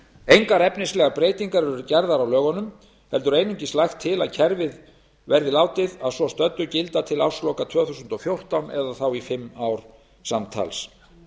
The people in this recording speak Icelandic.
engar efnislegar breytingar eru gerðar til á lögunum heldur einungis lagt til að kerfið verði að svo stöddu látið gilda til ársloka tvö þúsund og fjórtán það er í fimm ár samtals